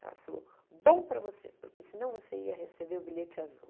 Ela falou, bom para você, porque senão você ia receber o bilhete azul.